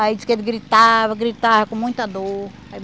Aí diz que ele gritava, gritava com muita dor.